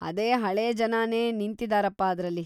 ಅದೇ ಹಳೇ ಜನನೇ ನಿಂತಿದ್ದಾರಪ ಅದ್ರಲ್ಲಿ.